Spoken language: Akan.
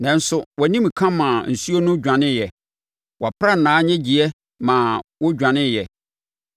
Nanso wʼanimka maa nsuo no dwaneeɛ, wʼaprannaa nnyegyeeɛ ma wɔdwaneeɛ;